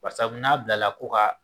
Barisabu n'a bilala ko ka